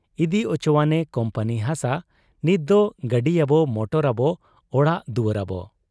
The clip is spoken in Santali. ᱤᱫᱤ ᱚᱪᱚᱣᱟᱱ ᱮ ᱠᱩᱢᱯᱟᱹᱱᱤ ᱦᱟᱥᱟ ᱾ ᱱᱤᱛᱫᱚ ᱜᱟᱹᱰᱤᱭᱟᱵᱚ, ᱢᱚᱴᱚᱨᱟᱵᱚ, ᱚᱲᱟᱜ ᱫᱩᱣᱟᱹᱨᱟᱵᱚ ᱾